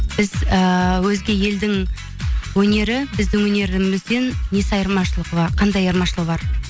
біз ііі өзге елдің өнері біздің өнерімізден қандай айырмашылығы бар